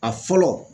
A fɔlɔ